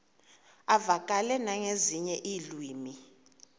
uvakale nangezinye iilwimi